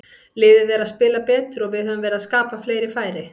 Liðið er að spila betur og við höfum verið að skapa fleiri færi.